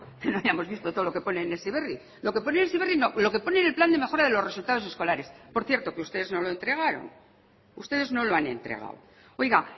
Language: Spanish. que no hayamos visto todo lo que pone en heziberri lo que pone en heziberri no lo que pone en el plan de mejora de los resultados escolares por cierto que ustedes no lo entregaron ustedes no lo han entregado oiga